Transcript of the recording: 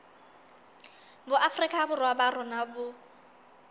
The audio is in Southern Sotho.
boafrika borwa ba rona bo